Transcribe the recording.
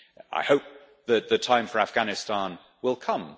I hope that the time for Afghanistan will come.